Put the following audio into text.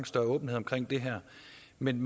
men